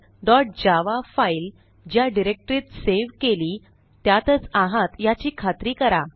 helloworldजावा file ज्या डिरेक्टरीत save केली त्यातच आहात याची खात्री करा